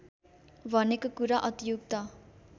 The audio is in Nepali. भनेको कुरा अतियुक्त